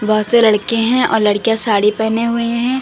बहुत से लड़के हैं और लड़कियां साड़ी पहने हुई हैं।